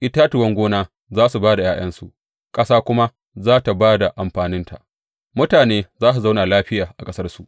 Itatuwan gona za su ba da ’ya’yansu, ƙasa kuma za tă ba da amfaninta; mutane za su zauna lafiya a ƙasarsu.